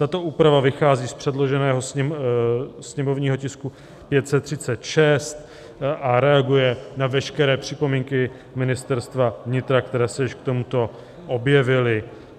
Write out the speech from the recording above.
Tato úprava vychází z předloženého sněmovního tisku 536 a reaguje na veškeré připomínky Ministerstva vnitra, které se již k tomuto objevily.